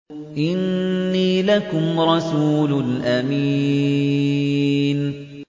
إِنِّي لَكُمْ رَسُولٌ أَمِينٌ